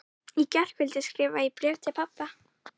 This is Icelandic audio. Í gærkvöldi skrifaði ég bréf til pabba.